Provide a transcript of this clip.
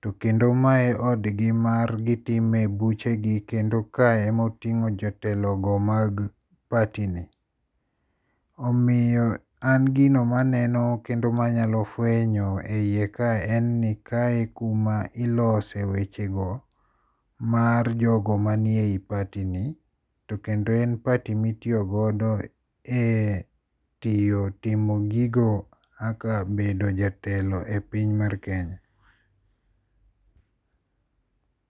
to kendo mae odgi ma gitime buchegi kendo kae emoting'o jotelogo mag party ni. Omiyo an gino maneno kendo manyalo fwenyo e iye kae en ni kae kuma ilose weche go mar jogo manie party ni. To kendo en party mitiyo godo e tiyo timo gigo kaka bedo jatelo e piny mar Kenya.